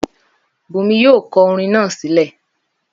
Bùnmi yóò kọ orin naa sílẹ̀!